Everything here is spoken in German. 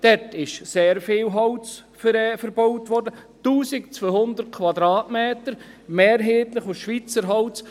Dort wurde sehr viel Holz verbaut, 1200 Kubikmeter, mehrheitlich Schweizer Holz.